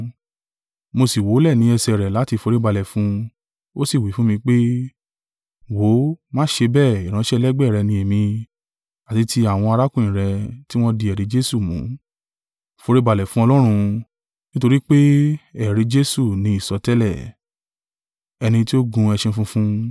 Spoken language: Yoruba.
Mo sì wólẹ̀ ní ẹsẹ̀ rẹ̀ láti foríbalẹ̀ fún un. Ó sì wí fún mi pé, “Wò ó, má ṣe bẹ́ẹ̀: ìránṣẹ́ ẹlẹgbẹ́ rẹ̀ ni èmi, àti ti àwọn arákùnrin rẹ̀ tí wọ́n di ẹ̀rí Jesu mú. Foríbalẹ̀ fún Ọlọ́run: nítorí pé ẹ̀rí Jesu ni ìsọtẹ́lẹ̀.”